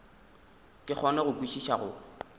ke kgone go kwešiša go